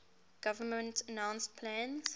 government announced plans